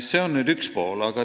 See on asja üks pool.